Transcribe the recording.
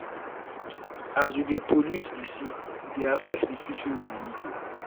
as we dey pollute di sea e dey affect di fish wey we dey eat.